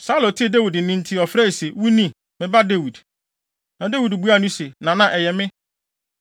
Saulo tee Dawid nne nti ɔfrɛe se, “Wo ni, me ba Dawid?” Na Dawid buaa no se, “Nana, ɛyɛ me.